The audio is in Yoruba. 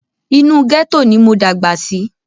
Inú gẹ́tò ni mo dàgbà sí.